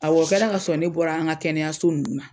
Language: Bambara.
Awɔ o kɛra k'a sɔrɔ ne bɔra an ka kɛnɛyaso nunnu ma